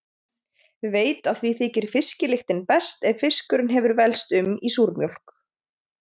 Veit að því þykir fiskilyktin best ef fiskurinn hefur velst í súrmjólk.